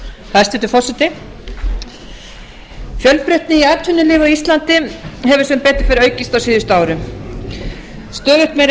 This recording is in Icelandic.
hæstvirtur forseti fjölbreytni í atvinnulífi á íslandi hefur sem betur fer aukist á síðustu árum stöðugt meiri